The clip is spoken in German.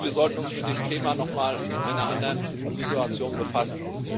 Ich glaube, wir sollten uns mit dem Thema nochmal in einer anderen Situation befassen.